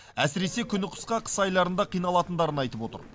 әсіресе күні қысқа қыс айларында қиналатындарын айтып отыр